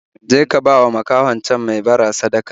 Je ka bawa makahon can mai bara sadaka